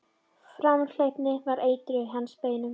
Framhleypni var eitur í hans beinum.